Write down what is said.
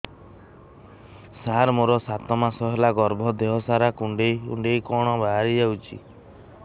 ସାର ମୋର ସାତ ମାସ ହେଲା ଗର୍ଭ ଦେହ ସାରା କୁଂଡେଇ କୁଂଡେଇ କଣ ବାହାରି ଯାଉଛି